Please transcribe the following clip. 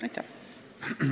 Aitäh!